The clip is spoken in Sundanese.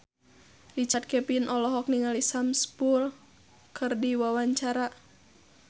Richard Kevin olohok ningali Sam Spruell keur diwawancara